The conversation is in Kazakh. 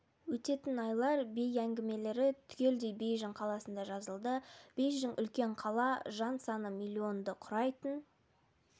өтетін айлар бей әңгімелері түгелдей бейжің қаласында жазылды бейжің үлкен қала жан саны миллионды құрайтын